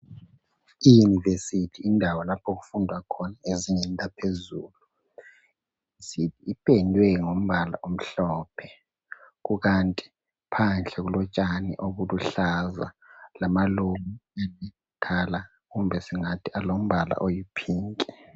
I university yindawo lapho okufundwa khona ezingeni laphezulu. Ipendwe ngombala omhlophe. Kukanti phandle kulotshani obuluhlaza lamaluba akudala kumbe singathi alombala oyi phinki.